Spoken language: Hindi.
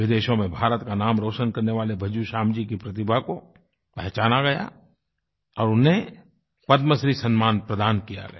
विदेशों में भारत का नाम रोशन करने वाले भज्जू श्याम जी की प्रतिभा को पहचाना गया और उन्हें पद्मश्री सम्मान प्रदान किया गया